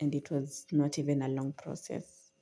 and it was not even a long process.